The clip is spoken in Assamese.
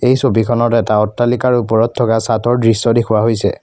এই ছবিখনত এটা অট্টালিকাৰ ওপৰত থকা চাতৰ দৃশ্য দেখুওৱা হৈছে।